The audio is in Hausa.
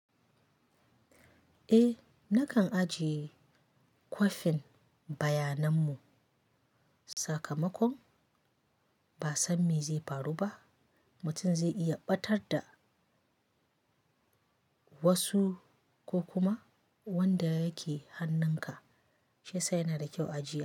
Eh nakan ajiye kwafin bayanan mu, sakamakon ba san me zai faru ba mutum zai iya ɓatar da wasu ko kuma wanda yake hannun ka shiyasa yana da kyau ajiya.